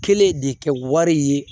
Kelen de kɛ wari ye